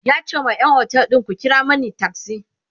yace da ƴan otel ɗin "ku kira Mani taksi!"